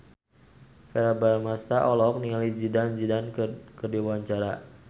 Verrell Bramastra olohok ningali Zidane Zidane keur diwawancara